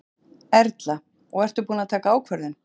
Erla: Og ertu búin að taka ákvörðun?